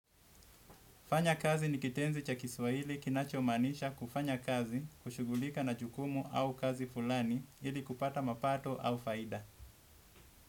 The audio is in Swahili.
Fanya kazi ni kitenzi cha kiswaili kinacho maanisha kufanya kazi kushugulika na jukumu au kazi fulani ili kupata mapato au faida.